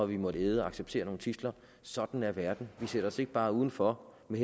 vi måttet acceptere nogle tidsler sådan er verden vi sætter os ikke bare udenfor med